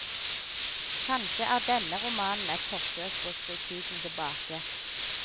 Kanskje er denne romanen et forsøk på å skru tiden tibake.